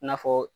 I n'a fɔ